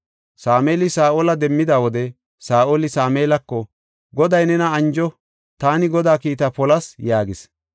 Sameeli Saa7ola demmida wode Saa7oli Sameelako, “Goday nena anjo; taani Godaa kiitta polas” yaagis.